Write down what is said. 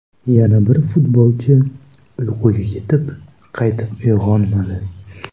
Yana bir futbolchi uyquga ketib, qaytib uyg‘onmadi.